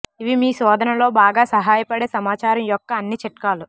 ఇవి మీ శోధనలో బాగా సహాయపడే సమాచారం యొక్క అన్ని చిట్కాలు